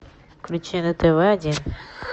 включи на тв один